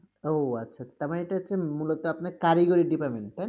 ও আচ্ছা আচ্ছা, তার মানে এটা হচ্ছে মূলত আপনার কারিগরি department